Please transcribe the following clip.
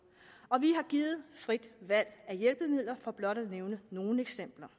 og vi har givet frit valg af hjælpemidler for blot at nævne nogle eksempler